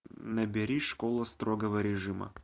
набери школа строгого режима